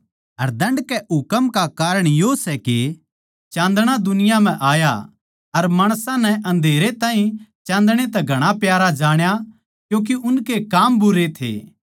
अर दण्ड कै हुकम का कारण यो सै के चान्दणा दुनिया म्ह आया सै अर माणसां नै अन्धेरै ताहीं चान्दणै तै घणा प्यारा जाण्या क्यूँके उनके काम भुण्डे थे